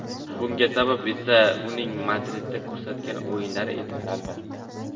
Bunga sabab esa uning Madridda ko‘rsatgan o‘yinlari edi, albatta.